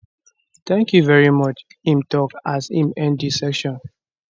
thank you very much im tok as im end di session